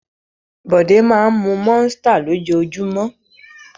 Bọ̀dé máa ń mú Monster lójoojúmọ́.